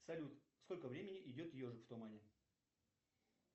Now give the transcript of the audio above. салют сколько времени идет ежик в тумане